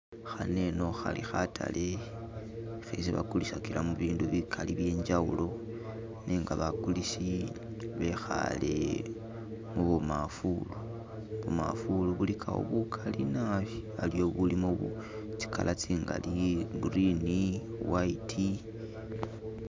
Khaneno khali khatale khesi bagulisagilamo bindu bigali byenjawulo nenga bagulisi bikhale mu bumaafulu, bumaafulu buligawo bugali naabi haliwo ubulimo tsi color tsingaali green, white.